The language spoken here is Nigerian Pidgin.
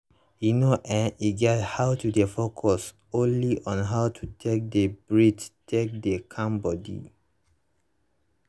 you know[um]e get how to dey focus only on how you take dey breath take dey calm body